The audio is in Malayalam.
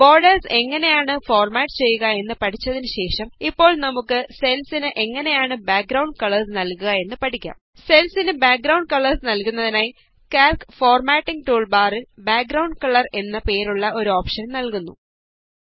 ബോര്ഡേര്സ് എങ്ങനെയാണ് ഫോര്മാറ്റ് ചെയ്യുക എന്ന് പഠിച്ചതിന് ശേഷം ഇപ്പോള് നമുക്ക് സെല്സിന് എങ്ങനെയാണ് ബാക്ഗ്രൌണ്ട് കളേര്സ് നല്കുക എന്ന് പഠിക്കാം സെല്സിന് ബാക്ഗ്രൌണ്ഡ് കളേര്സ് നല്കുന്നതിനായി കാല്ക് ഫോര്മാറ്റിംഗ് ടൂള് ബാറില് ബാക്ഗ്രൌണ്ഡ് കളര് എന്നു പേരുള്ള ഒരു ഓപ്ഷന് നല്കുന്നു